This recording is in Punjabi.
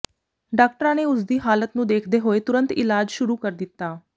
ਡਾਕਟਰਾਂ ਨੇ ਉਸਦੀ ਹਾਲਤ ਨੂੰ ਦੇਖਦੇ ਹੋਏ ਤੁਰੰਤ ਇਲਾਜ ਸ਼ੁਰੂ ਕਰ ਦਿੱਤਾ